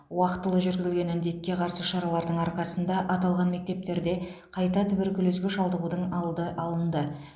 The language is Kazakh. уақытылы жүргізілген індетке қарсы шаралардың арқасында аталған мектептерде қайта туберкулезге шалдығудың алды алынды